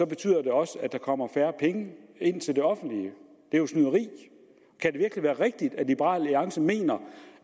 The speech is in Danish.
betyder det også at der kommer færre penge ind til det offentlige det er jo snyderi kan det virkelig være rigtigt at liberal alliance mener